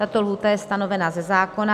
Tato lhůta je stanovena ze zákona.